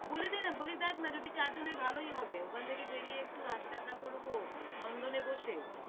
বলে দে না, বলে দেখ না। যদি চার জনে ভালোই হবে। ওখান থেকে বেরিয়ে একটু হাসি-ঠাট্টা করবো নন্দনে বসে।